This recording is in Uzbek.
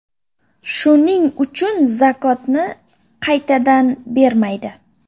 Shuning uchun zakotni qaytadan bermaydi.